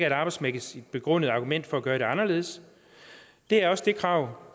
et arbejdsmæssigt begrundet argument for at gøre det anderledes det er også det krav